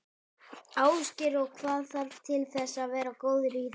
Ásgeir: Og hvað þarf til þess að vera góður í þessu?